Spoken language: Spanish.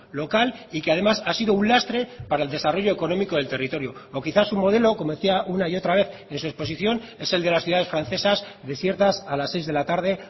local y que además ha sido un lastre para el desarrollo económico del territorio o quizás un modelo como decía una y otra vez en su exposición es el de las ciudades francesas desiertas a las seis de la tarde